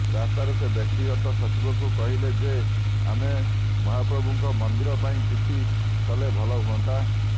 ରାସ୍ତାରେ ସେ ବ୍ୟକ୍ତିଗତ ସଚିବଙ୍କୁ କହିଲେ ଯେ ଆମେ ମହାପ୍ରଭୁଙ୍କ ମନ୍ଦିର ପାଇଁ କିଛି କଲେ ଭଲ ହୁଅନ୍ତା